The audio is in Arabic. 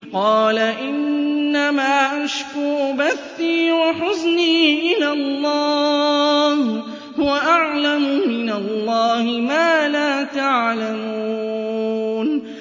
قَالَ إِنَّمَا أَشْكُو بَثِّي وَحُزْنِي إِلَى اللَّهِ وَأَعْلَمُ مِنَ اللَّهِ مَا لَا تَعْلَمُونَ